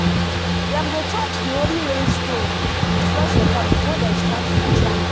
dem go touch the holy rain stone with fresh water before dem start to chant.